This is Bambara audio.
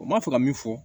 U ma fɛ ka min fɔ